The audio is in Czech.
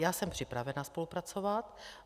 Já jsem připravena spolupracovat.